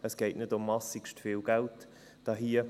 Es geht nicht um massivst viel Geld hier.